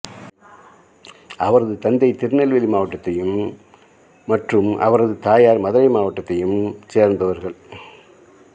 அவரது தந்தை திருநெல்வேலி மாவட்டத்தையும் மற்றும் அவரது தாயார் மதுரை மாவட்டத்தையும் சேர்ந்தவர்கள்